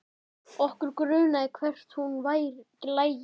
Okkur grunaði hvert hún lægi.